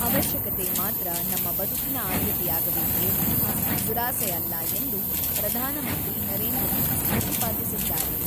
ಅವಶ್ಯಕತೆ ಮಾತ್ರ ನಮ್ಮ ಬದುಕಿನ ಆದ್ಯತೆಯಾಗಬೇಕೇ ವಿನಃ ದುರಾಸೆ ಅಲ್ಲ ಎಂದು ಪ್ರಧಾನಮಂತ್ರಿ ನರೇಂದ್ರ ಮೋದಿ ಪ್ರತಿಪಾದಿಸಿದ್ದಾರೆ.